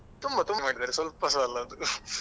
ತುಂಬ ತುಂಬ ಮಾಡಿದ್ದಾರೆ ಸ್ವಲ್ಪಸ ಅಲ್ಲ ಅದು .